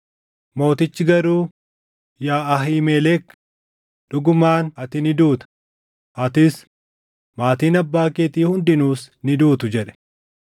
Mootichi garuu, “Yaa Ahiimelek, dhugumaan ati ni duuta; atis, maatiin abbaa keetii hundinuus ni duutu” jedhe.